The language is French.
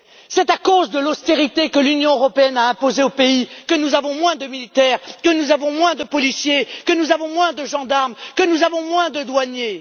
C'est à cause de l'austérité que l'Union a imposée aux pays que nous avons moins de militaires, que nous avons moins de policiers, que nous avons moins de gendarmes, que nous avons moins de douaniers.